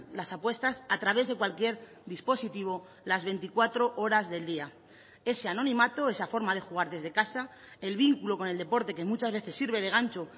las apuestas a través de cualquier dispositivo las veinticuatro horas del día ese anonimato esa forma de jugar desde casa el vínculo con el deporte que muchas veces sirve de gancho